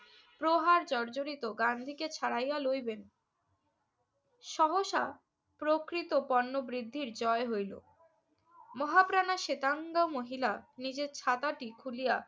প্রহার জর্জরিত গান্ধীকে ছাড়াইয়া লইবেন সহসা প্রকৃত পণ্য বৃদ্ধির জয় হইল। মহাপ্রাণা শেতাঙ্গ মহিলা নিজের ছাতাটি খুলিয়া